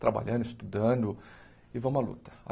trabalhando, estudando, e vamos à luta.